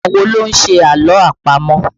Àwọn wo ló ń ṣe àlọ́ àpamọ̀?